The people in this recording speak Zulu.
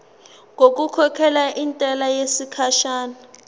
ngokukhokhela intela yesikhashana